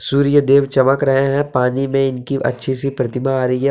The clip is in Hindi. सूर्य देव चमक रहे है पानी में इनकी अच्छी सी प्रतिमा आ रही है।